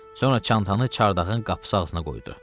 Sonra çantanı çardağın qapısı ağzına qoydu.